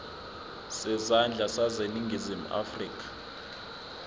zezandla zaseningizimu afrika